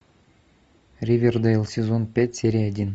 ривердейл сезон пять серия один